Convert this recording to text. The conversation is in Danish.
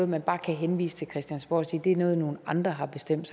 man bare kan henvise til christiansborg og sige at det er noget nogle andre har bestemt